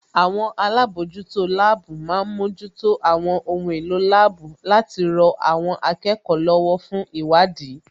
Àwọn alábòójútó láàbù má ń mójútó àwọn ohun èlò láàbù láti rọ àwọn akẹ́kọ̀ọ́ lọ́wọ́ fún ìwádìí